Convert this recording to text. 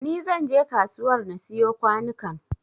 Ni zan je kasuwar na siyo kwanukan